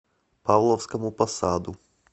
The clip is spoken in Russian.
павловскому посаду